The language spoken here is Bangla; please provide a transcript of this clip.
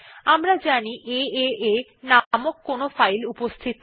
আমরা জানি এএ নামক কোন ফাইল উপস্থিত নেই